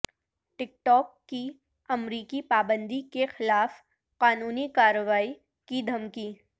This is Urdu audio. ٹک ٹاک کی امریکی پابندی کے خلاف قانونی کارروائی کی دھمکی